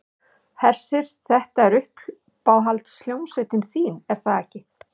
Hersir, þetta er uppáhalds hljómsveitin þín er það ekki?